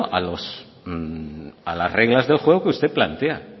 a las reglas del juego que usted plantea